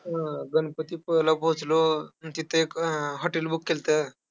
अं गणपतीपुळ्याला पोहोचलो, तिथं एक hotel book केल्तं.